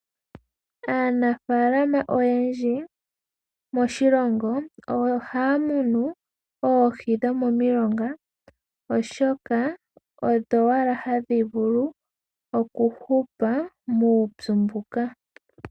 Aanafaalama oyendji moshilongo ohaya munu oohi dho momilonga oshoka, odho owala hadhi vulu oku hupa muupyu mbuka.